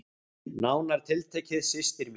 Nánar tiltekið systir mín.